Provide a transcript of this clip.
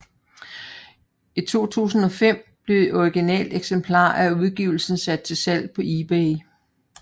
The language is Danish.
I 2005 blev et originalt eksemplar af udgivelsen sat til salg på eBay